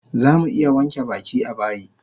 Zamu iya wanke baki a bayi